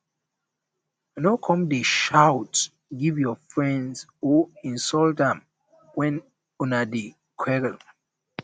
no come dey shout give your friend or insult am wen una dey quarrel